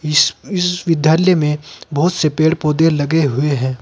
इस इस विद्यालय में बहोत से पेड़ पौधे लगे हुए है।